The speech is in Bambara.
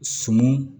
Suman